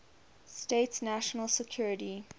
states national security